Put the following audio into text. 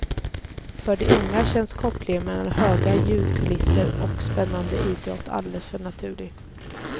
För de unga känns kopplingen mellan höga ljudkulisser och spännande idrott alldeles naturlig.